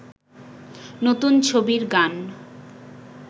নতুন ছবির গান